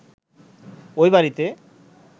ওই বাড়িতে